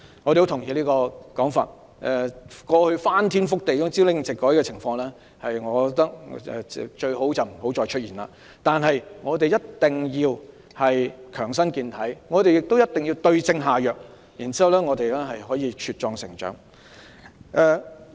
我同意這種說法，我認為過去翻天覆地、朝令夕改的情況最好不再出現，但我們必須強身健體，也必須對症下藥，然後我們便能茁壯成長。